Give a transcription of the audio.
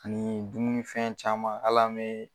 Ani dumunifɛn caman hali an mo